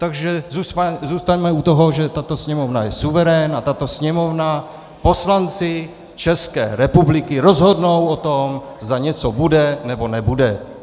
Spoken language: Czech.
Takže zůstaňme u toho, že tato Sněmovna je suverén a tato Sněmovna, poslanci České republiky rozhodnou o tom, zda něco bude, nebo nebude.